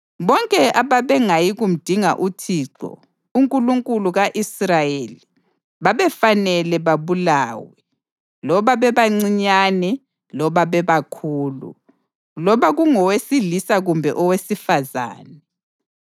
Bonke ababengayi kumdinga uThixo, uNkulunkulu ka-Israyeli, babefanele babulawe, loba bebancinyane loba bebakhulu, loba kungowesilisa kumbe owesifazane.